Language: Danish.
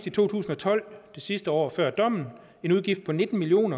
i to tusind og tolv det sidste år før dommen en udgift på nitten million